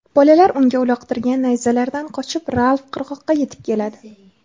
Bolalar unga uloqtirgan nayzalaridan qochib, Ralf qirg‘oqqa yetib keladi.